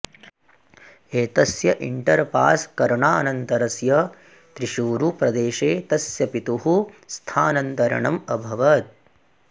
एतस्य inter pass करणानन्तरस्य त्रिशूरुप्रदेशे तस्य पितुः स्थानन्तरणम् अभवत्